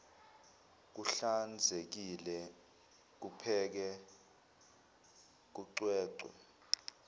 kuhlanzekile kupheke kucwecwe